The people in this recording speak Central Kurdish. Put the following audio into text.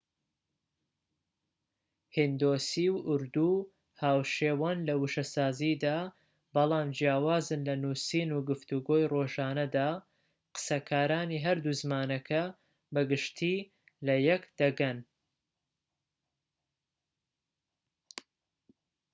هیندۆسی و ئوردو هاوشێوەن لە وشەسازیدا بەڵام جیاوازن لە نوسین و گفتوگۆی ڕۆژانەدا قسەکارانی هەردوو زمانەکە بە گشتیی لەیەك دەگەن